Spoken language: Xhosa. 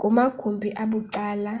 kumagumbi abucala